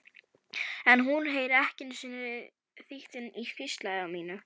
En hún heyrir ekki einu sinni þytinn í hvísli mínu.